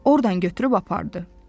Ordan götürüb apardı.